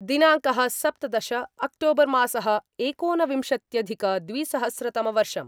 दिनाङ्कः सप्तदश अक्टोबर् मासः एकोनविंशत्यधिकद्विसहस्रतमवर्षम्